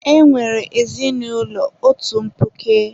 E nwere ezinụlọ otu mkpuke.